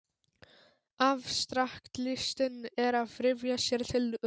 Afstraktlistin er að ryðja sér til rúms.